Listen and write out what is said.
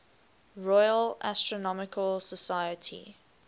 royal astronomical society